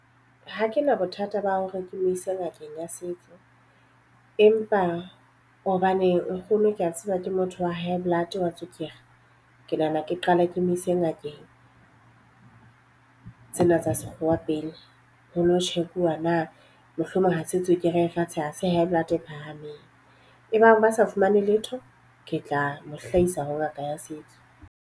Ha ke na bothata ba hore ke mo ise ngakeng ya setso. Empa hobane nkgono ke a tseba ke motho wa high blood, wa tswekere. Ke nahana ke qala ke mo ise ngakeng tsena tsa sekgowa pele ho lo check-uwa na mohlomong ha se tswekere fatshe, ha se high blood e phahameng. E bang ba sa fumane letho ke tla mo hlahisa ho ngaka ya setso.